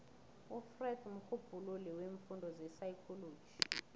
ufreud mrhubhululi weemfundo zepsychology